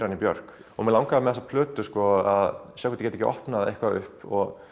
hann í Björk mig langaði með þessari plötu að sjá hvort ég gæti ekki opnað eitthvað upp